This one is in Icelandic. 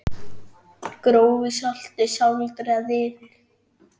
Grófu salti sáldrað yfir.